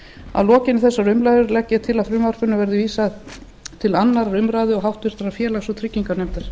að lokinni þessari umræðu legg ég til að frumvarpinu verði vísað til annarrar umræðu og háttvirtur félags og trygginganefndar